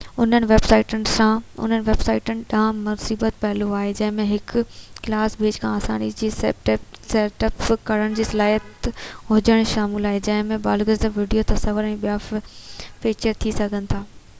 انهن ويب سائيٽن ڏانهن مثبت پهلو آهن جنهن ۾ هڪ ڪلاس پيج کي آساني سان سيٽ اپ ڪرڻ جي صلاحيت هجڻ شامل آهي جنهن ۾ بلاگز ويڊيوز تصويرون ۽ ٻيا فيچر ٿي سگهن ٿا